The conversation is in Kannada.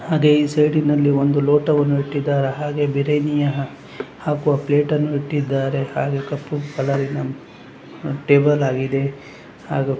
ಅದೇ ಈ ಸೈಡ್ ನಲ್ಲಿ ಒಂದು ಲೋಟವನ್ನು ಇಟ್ಟಿದ್ದಾರೆ ಹಾಗೆ ಬಿರಿಯಾನಿಯ ಹಾಕುವ ಪ್ಲೇಟ್ ಅನ್ನು ಇಟ್ಟಿದ್ದಾರೆ ಹಾಫ್ ಕಪ್ಪು ಕಲರಿನ ಟೇಬಲ್ ಆಗಿದೆ ಹಾಗು --